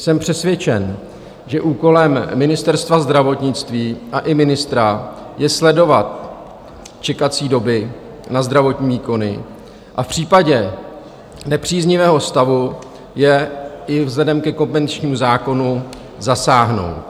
Jsem přesvědčen, že úkolem Ministerstva zdravotnictví a i ministra je sledovat čekací doby na zdravotní výkony a v případě nepříznivého stavu je - i vzhledem ke kompetenčnímu zákonu - zasáhnout.